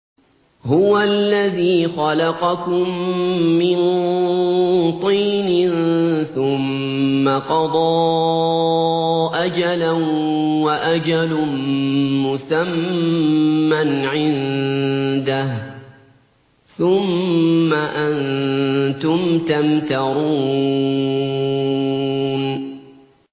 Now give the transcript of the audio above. هُوَ الَّذِي خَلَقَكُم مِّن طِينٍ ثُمَّ قَضَىٰ أَجَلًا ۖ وَأَجَلٌ مُّسَمًّى عِندَهُ ۖ ثُمَّ أَنتُمْ تَمْتَرُونَ